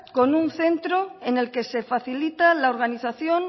con un centro en el que se facilita la organización